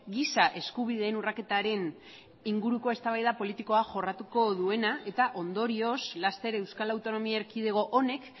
giza eskubideen urraketaren inguruko eztabaida politikoa jorratuko duena eta ondorioz laster euskal autonomia erkidego honek